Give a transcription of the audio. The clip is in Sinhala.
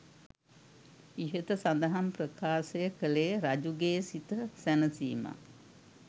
ඉහත සඳහන් ප්‍රකාශය කළේ රජු ගේ සිත සැනසීමත්,